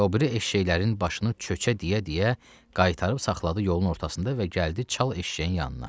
Və o biri eşşəklərin başını çökə deyə-deyə qaytarıb saxladı yolun ortasında və gəldi çal eşşəyin yanına.